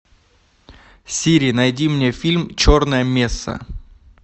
сири найди мне фильм черная месса